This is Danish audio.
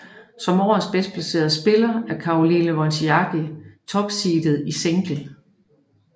Som årets bedstplacerede spiller er Caroline Wozniacki topseedet i single